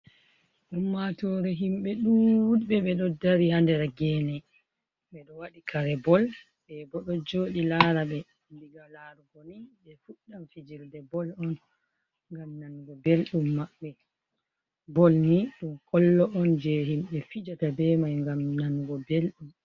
Ummatore himɓe ɗuɗɓe ɓe ɗo dari ha nder gene, ɓe ɗo waɗi kare bol, ɓe bo ɗo joɗi lara ɓe, ndiga larugo ni ɓe fuɗdam fijirde bol on ngam nango belɗum maɓɓe, bol ni ɗum kwollo on je himɓe fijata be mai ngam nanugo belɗum.